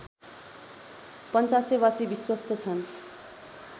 पञ्चासेवासी विश्वस्त छन्